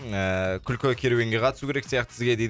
ыыы күлкі керуенге қатысу керек сияқты сізге дейді